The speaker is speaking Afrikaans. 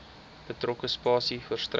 betrokke spasie verstrek